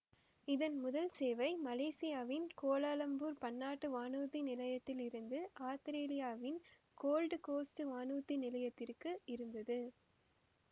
இதன் முதல் சேவை மலேசியாவின் கோலாலம்பூர் பன்னாட்டு வானூர்தி நிலையத்தில் இருந்து ஆத்திரேலியாவின் கோல்டு கோசுட்டு வானூர்தி நிலையத்திற்கு இருந்தது